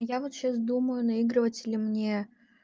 я вот сейчас думаю наигрывать или мне